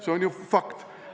See on ju fakt.